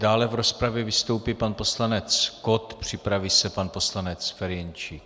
Dále v rozpravě vystoupí pan poslanec Kott, připraví se pan poslanec Ferjenčík.